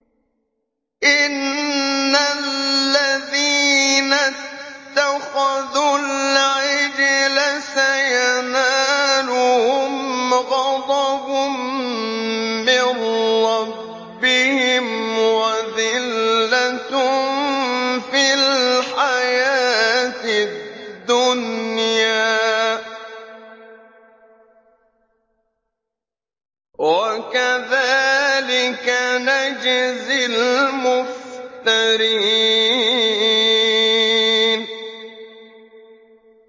إِنَّ الَّذِينَ اتَّخَذُوا الْعِجْلَ سَيَنَالُهُمْ غَضَبٌ مِّن رَّبِّهِمْ وَذِلَّةٌ فِي الْحَيَاةِ الدُّنْيَا ۚ وَكَذَٰلِكَ نَجْزِي الْمُفْتَرِينَ